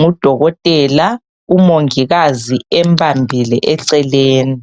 ngudokotela umongikazi embambile eceleni